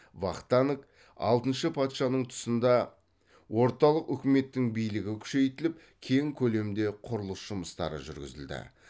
вахтанг алтыншы патшаның тұсында орталық үкіметтің билігі күшейтіліп кең көлемде құрылыс жұмыстары жүргізілді